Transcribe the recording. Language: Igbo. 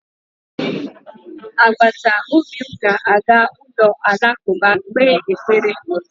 Agbataobi m ga-aga ụlọ alakụba kpee ekpere